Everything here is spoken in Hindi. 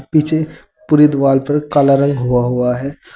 पीछे पूरे दीवाल पर काला रंग होआ हुआ है।